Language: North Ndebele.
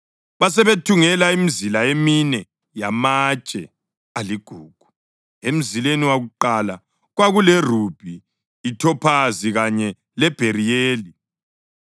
Basebethungela imizila emine yamatshe aligugu. Emzileni wakuqala kwakulerubhi, ithophazi kanye lebheriyeli;